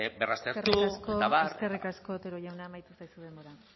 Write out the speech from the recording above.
berraztertu eta abar eskerrik asko eskerrik asko otero jauna amaitu zaizu denbora